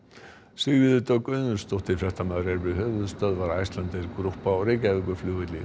Sigríður Dögg Auðunsdóttir fréttamaður er við höfuðstöðvar Icelandair Group á Reykjavíkurflugvelli